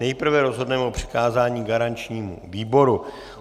Nejprve rozhodneme o přikázání garančnímu výboru.